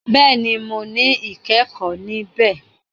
Béèni mọ ní ikẹkọ ní bẹ